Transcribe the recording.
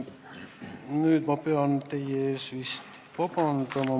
Nüüd ma pean teie ees vabandama.